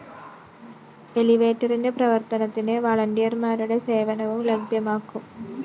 എലിവേറ്ററിന്റെ പ്രവര്‍ത്തനത്തിന് വാളണ്ടിയര്‍മാരുടെ സേവനവും ലഭ്യമാക്കും